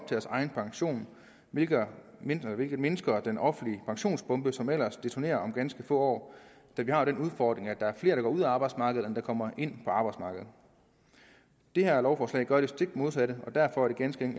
deres egen pension hvilket mindsker hvilket mindsker den offentlige pensionsbombe som ellers detonerer om ganske få år da vi har den udfordring at der er flere der går ud af arbejdsmarkedet end der kommer ind på arbejdsmarkedet det her lovforslag gør det stik modsatte derfor er det ganske